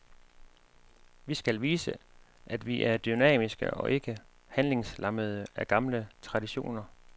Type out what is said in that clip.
Vi skal vise, at vi er dynamiske og ikke handlingslammede af gamle traditioner.